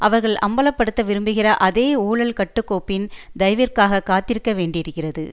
அவர்கள் அம்பல படுத்த விரும்புகிற அதே ஊழல் கட்டுக்கோப்பின் தயவிற்காக காத்திருக்க வேண்டியிருக்கிறது